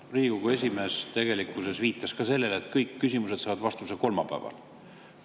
Riigikogu esimees tegelikkuses viitas ka sellele, et kõik küsimused saavad vastuse kolmapäeval.